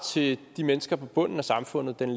til de mennesker på bunden af samfundet den